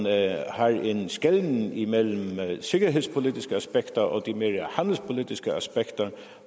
at drage en skelnen imellem de sikkerhedspolitiske aspekter og de mere handelspolitiske aspekter